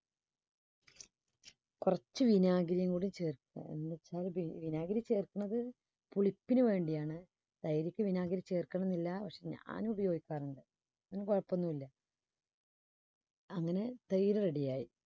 കുറച്ചു വിനാഗിരിയും കൂടി ചേർത്ത് എന്നുവച്ചാൽ വി~വിനാഗിരി ചേർക്കുന്നത് പുളിപ്പിനുവേണ്ടിയാണ് തൈര്ക്ക് വിനാഗിരി ചേർക്കുന്നില്ല പക്ഷേ ഞാൻ ഉപയോഗിക്കാറുണ്ട് അങ്ങനെ തൈര് ready യായി.